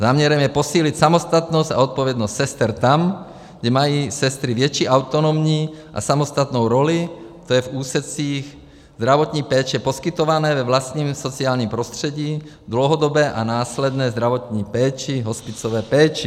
Záměrem je posílit samostatnost a odpovědnost sester tam, kde mají sestry větší autonomní a samostatnou roli, to je v úsecích zdravotní péče poskytované ve vlastním sociálním prostředí, dlouhodobé a následné zdravotní péči, hospicové péči.